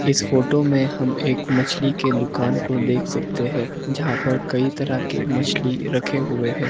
इस फोटो में हम एक मछली के दुकान को देख सकते है जहां पर कई तरह के मछली रखे हुए है।